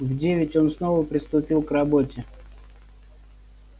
в девять он снова приступил к работе